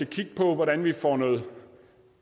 kigge på hvordan vi får noget